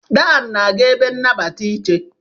Dan na-aga ebe nnabata ị che.